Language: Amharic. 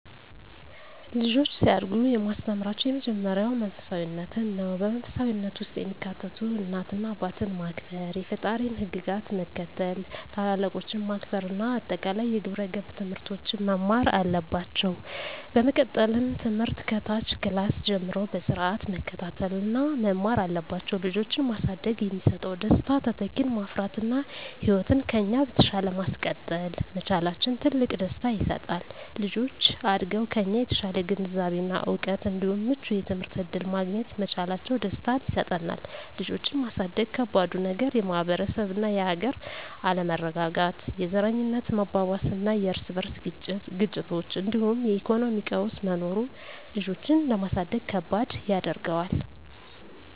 ልጆች ሲያድጉ የማስተምራቸው የመጀመሪያው መንፈሳፊነትን ነው። በመንፈሳዊነት ውስጥ የሚካተቱት እናት አባትን ማክበር፣ የፈጣሪን ህግጋት መከተል፣ ታላላቆችን ማክበር እና አጠቃላይ የግብረ ገብ ትምህርቶችን መማር አለባቸው። በመቀጠልም ትምህርት ከታች ክላስ ጀምረው በስርአት መከታተል እና መማር አለባቸው። ልጆችን ማሳደግ የሚሰጠው ደስታ:- - ተተኪን ማፍራት እና ህይወትን ከኛ በተሻለ ማስቀጠል መቻላችን ትልቅ ደስታ ይሰጣል። - ልጆች አድገው ከኛ የተሻለ ግንዛቤ እና እውቀት እንዲሁም ምቹ የትምህርት እድል ማግኘት መቻላቸው ደስታን ይሰጠናል። ልጆችን ማሳደግ ከባዱ ነገር:- - የማህበረሰብ እና የሀገር አለመረጋጋት፣ የዘረኝነት መባባስና የርስ በርስ ግጭቶች እንዲሁም የኢኮኖሚ ቀውስ መኖሩ ልጆችን ለማሳደግ ከባድ ያደርገዋል።